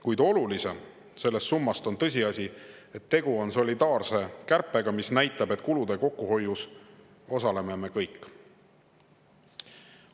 Kuid olulisem sellest summast on tõsiasi, et tegu on solidaarse kärpega, mis näitab, et kulude kokkuhoius osaleme me kõik.